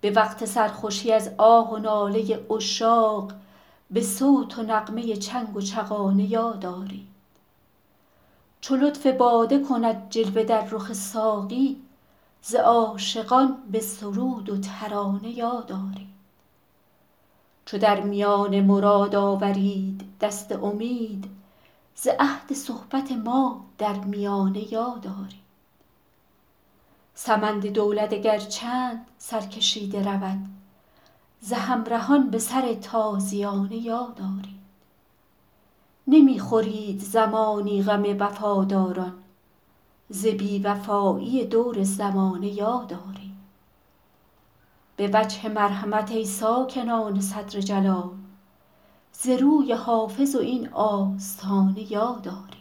به وقت سرخوشی از آه و ناله عشاق به صوت و نغمه چنگ و چغانه یاد آرید چو لطف باده کند جلوه در رخ ساقی ز عاشقان به سرود و ترانه یاد آرید چو در میان مراد آورید دست امید ز عهد صحبت ما در میانه یاد آرید سمند دولت اگر چند سرکشیده رود ز همرهان به سر تازیانه یاد آرید نمی خورید زمانی غم وفاداران ز بی وفایی دور زمانه یاد آرید به وجه مرحمت ای ساکنان صدر جلال ز روی حافظ و این آستانه یاد آرید